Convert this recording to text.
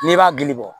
N'i b'a gili bɔ